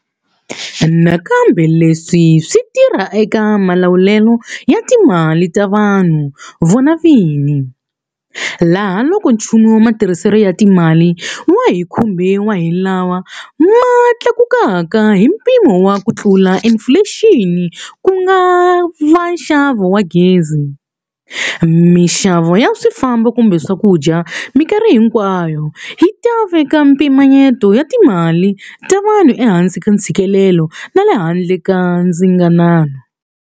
Nakambe leswi swi tirha eka malawulelo ya timali ta vanhu vona vini, laha loko nchumu wa matirhiselo ya timali wa hi kumbe wa hi lawa ma tlakukaka hi mpimo wa kutlula inifulexini ku nga va nxavo wa gezi, mixavo ya swifambo kumbe swakudya mikarhi hinkwayo hi ta veka mpimanyeto na timali ta munhu ehansi ka ntshikelelo na le handle ka ndzinganano.